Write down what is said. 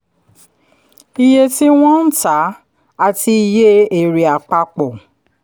iye tí wọ́n ń tá àti iye èrè àpapọ̀